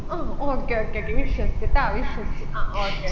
അഹ് okay okay ട്ടി വിശ്വസിച്ച്ട്ടാ വിശ്വസിച്ച് അഹ് okay